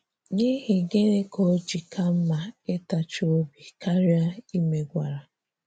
N'ihi gịnị ka o ji ka mma ịtachi obi karịa ịmegwara?